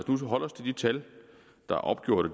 tal der er opgjort og